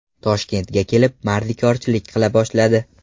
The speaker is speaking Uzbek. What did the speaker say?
Toshkentga kelib, mardikorchilik qila boshladi.